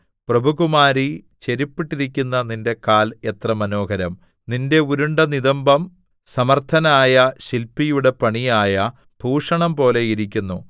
പ്രഭുകുമാരീ ചെരിപ്പിട്ടിരിക്കുന്ന നിന്റെ കാൽ എത്ര മനോഹരം നിന്റെ ഉരുണ്ട നിതംബം സമർത്ഥനായ ശില്പിയുടെ പണിയായ ഭൂഷണം പോലെ ഇരിക്കുന്നു